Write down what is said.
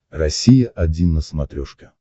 россия один на смотрешке